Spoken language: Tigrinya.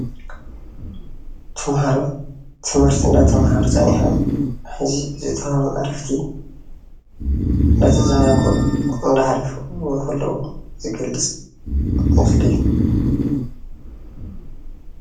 ተምሃሮ ትምህርቲ እናተምሃሩ ፀኒሖም ሐዚ ዝተውሃቦም ዕረፍቲ እናተዘናግዑ እንዳሕለፉ ከለወ እሃለው ዝገልፅ ምስሊ እዩ ።